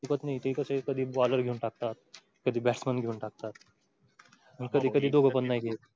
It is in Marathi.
ते कसे कधी bowler घेऊन टाकतात, कधी batsmen घेऊन टाकतात. कधी कधी दोग पण नाही